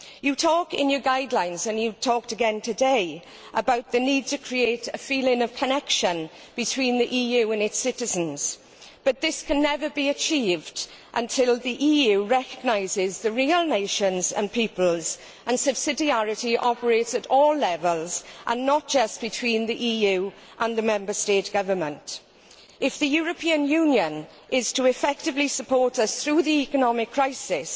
Mr Barroso, you talk in your guidelines, and you have talked again today, about the need to create a feeling of connection between the EU and its citizens, but this can never be achieved until the EU recognises the real nations and peoples, and that subsidiarity operates at all levels and not just between the EU and the Member State government. If the European Union is to effectively support us through the economic crisis,